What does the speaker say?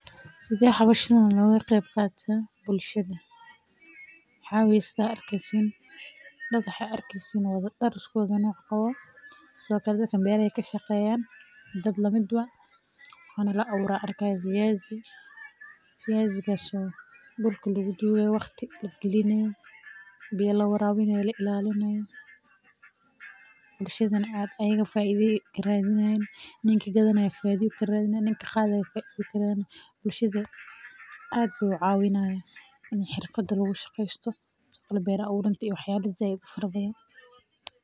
Sidee howshan loogu qabtaa bulshadada waxaa waye sida aad arkeysin dad siku dar wada qabo beer la abuurayo fiyaasi biya la waraabinayo bulshada wuu cawiya in xirfada lagu shaqeesto.